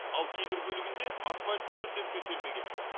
ал кейбір бөлігінде асфальт мүлдем төселмеген